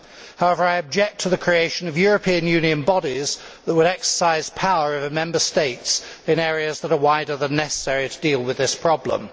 However, I object to the creation of European Union bodies that would exercise power over Member States in areas that are wider than necessary to deal with this problem.